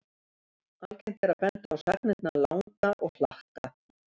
Algengt er að benda á sagnirnar langa og hlakka.